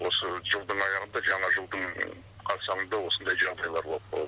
осы жылдың аяғында жаңа жылдың қарсаңында осындай жағдайлар болып қалады